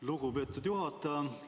Lugupeetud juhataja!